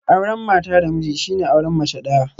Auren mata da miji shine auren mace daya